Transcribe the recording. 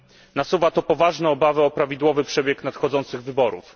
Nasuwa to poważne obawy o prawidłowy przebieg nadchodzących wyborów.